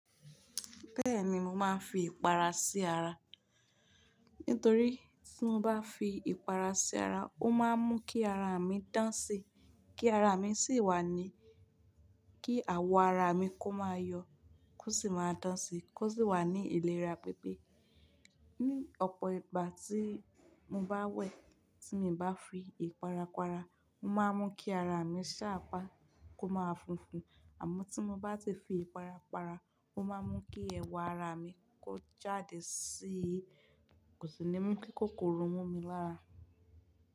Bẹ́ẹ̀ni mo máa ń fi ìpara sí ara. Nítorí tí mo bá fi ìpara sí ara, ó máa ń mú kí ara mi dán sí, kí ara mi sì wà ní, kí àwọ̀ ara mi kó máa yọ kó sì máa dán sí kó sì wà ní ìlera pípé. Ni ọ̀pọ̀ ìgbà tí mo bá wẹ̀, tí mo bá fi ìpara para, ó máa ń mú kí ara mi ṣápa kó máa funfun. Àmọ́ tí mo bá ti fi ìpara para, ó máa ń mú kí ẹwà ara mi kó jáde sí i. Kò sì ní mú kí kòkòrò mú mi lára.